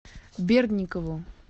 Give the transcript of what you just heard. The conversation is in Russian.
бердникову